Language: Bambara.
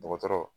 Dɔgɔtɔrɔ